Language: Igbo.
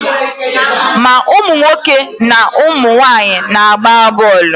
Ma ụmụ nwoke ma ụmụ nwaanyị na-agba bọọlụ.